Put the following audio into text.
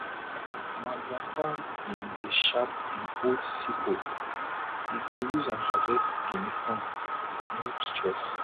ma grandpapa been dey sharp him old sickle e go use am harvest guinea corn with no stress